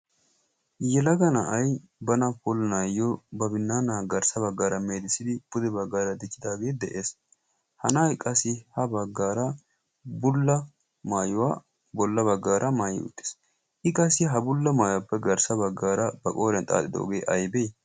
yelaga na7ai bana polinaayyo ba binnannaa garssa baggaara meedissidi pude baggaara diccidaagee de7ees hana7a i qassi ha baggaara bulla maayuwaa bolla baggaara maayi utties i qassi ha bulla maayuwaappe garssa baggaara ba qooren xaaxidoogee aibee